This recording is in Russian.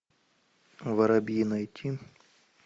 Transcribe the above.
воробьи найти